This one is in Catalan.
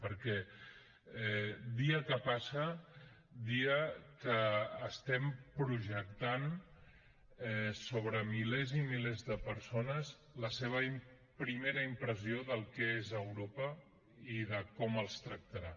perquè dia que passa dia que projectem sobre milers i milers de persones la seva primera impressió del que és europa i de com els tractarà